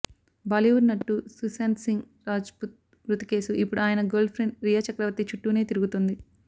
బాలీవుడ్ నటుడు సుశాంత్ సింగ్ రాజ్పుత్ మృతి కేసు ఇప్పుడు ఆయన గర్ల్ ప్రెండ్ రియా చక్రవర్తి చుట్టూనే తిరుగుతుంది